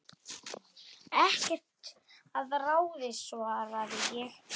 Ekkert að ráði svaraði ég.